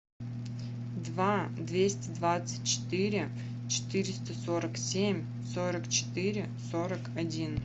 два двести двадцать четыре четыреста сорок семь сорок четыре сорок один